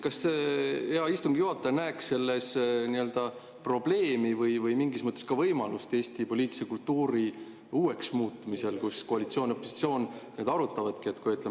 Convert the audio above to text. Kas hea istungi juhataja näeks selles probleemi või mingis mõttes ka võimalust Eesti poliitilise kultuuri uueks muutmisel, kui koalitsioon ja opositsioon niimoodi arutavadki?